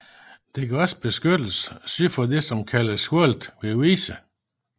Det gav også beskyttelse syd for det som kaldtes hullet ved Vise